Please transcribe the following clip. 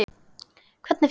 Hvernig fer?